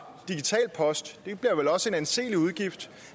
digital post det bliver vel også en anselig udgift